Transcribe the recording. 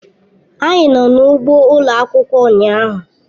Anyị nọ n'ugbo ụlọ akwụkwọ ụnyahụ.